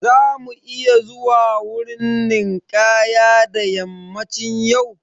Za mu iya zuwa wurin ninkaya da yammacin yau?